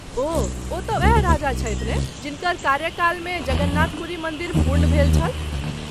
ओह , ओ तँ ओएह राजा छथि ने जिनकर कार्यकाल मे जगन्नाथ पूरी मन्दिर पूर्ण भेल छल.